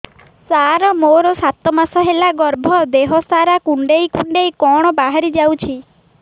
ସାର ମୋର ସାତ ମାସ ହେଲା ଗର୍ଭ ଦେହ ସାରା କୁଂଡେଇ କୁଂଡେଇ କଣ ବାହାରି ଯାଉଛି